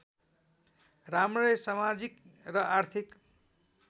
राम्रै समाजिक र आर्थिक